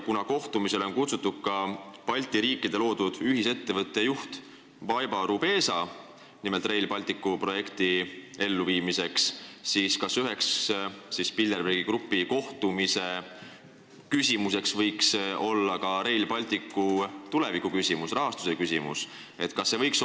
Kuna kohtumisele on kutsutud ka Balti riikide loodud ühisettevõtte, nimelt Rail Balticu projekti elluviimiseks moodustatud ettevõtte juht Baiba Rubesa, siis kas üheks Bilderbergi grupi kohtumise küsimuseks võiks olla ka Rail Balticu tuleviku küsimus, rahastuse küsimus?